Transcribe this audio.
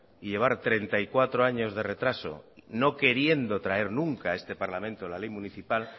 y llevar treinta y cuatro años de retraso no queriendo traer nunca a este parlamento la ley municipal